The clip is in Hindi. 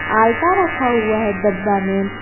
आलता रखा हुआ है डब्बा में।